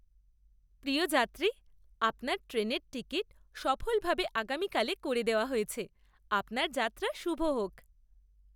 প্রিয় যাত্রী, আপনার ট্রেনের টিকিট সফলভাবে আগামীকালে করে দেওয়া হয়েছে। আপনার যাত্রা শুভ হোক!